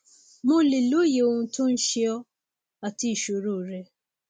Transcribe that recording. mo lè lóye ohun tó ń ṣe ọ àti ìṣoro rẹ